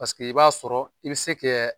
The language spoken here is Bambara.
Paseke i b'a sɔrɔ i bɛ se kɛ